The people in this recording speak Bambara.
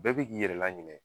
Bɛɛ bi k'i yɛrɛ laɲinɛ